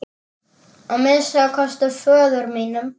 Að minnsta kosti föður sínum.